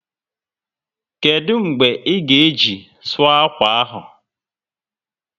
Kedụ mgbe ị ga-eji sụọ akwa ahụ?